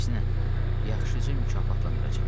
Əksinə, yaxşıca mükafatlandıracam.